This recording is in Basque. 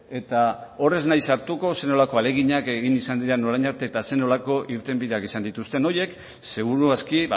eta hor ez naiz sartuko zer nolako ahaleginak egin izan diren orain arte eta zer nolako irtenbideak izan dituzten horiek seguru aski